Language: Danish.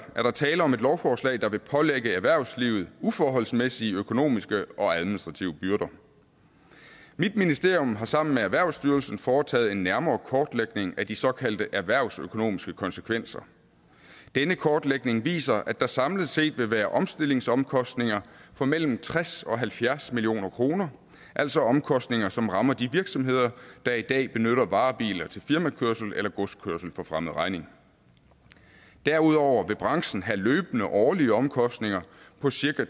er tale om et lovforslag der vil pålægge erhvervslivet uforholdsmæssige økonomiske og administrative byrder mit ministerium har sammen med erhvervsstyrelsen foretaget en nærmere kortlægning af de såkaldte erhvervsøkonomiske konsekvenser denne kortlægning viser at der samlet set vil være omstillingsomkostninger på mellem tres og halvfjerds million kr altså omkostninger som rammer de virksomheder der i dag benytter varebiler til firmakørsel eller godskørsel for fremmed regning derudover vil branchen have løbende årlige omkostninger på cirka